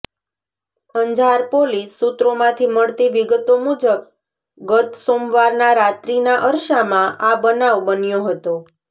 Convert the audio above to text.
Anjar police સૂત્રોમાંથી મળતી વિગતો મુજબ ગત સોમવારના રાત્રિના અરસામાં આ બનાવ બન્યો હતો